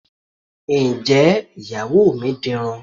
Ǹjẹ́ Ìyàwó mi dirun?